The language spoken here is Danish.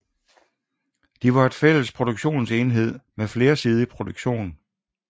De var en fælles produktionsenhed med flersidig produktion